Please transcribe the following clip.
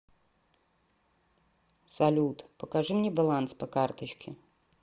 салют покажи мне баланс по карточке